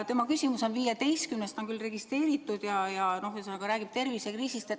Tema küsimus on 15., ta on registreeritud, ja see puudutab tervisekriisi.